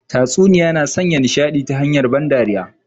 Tatsuniya na sanya nishadi ta hanyar ban dariya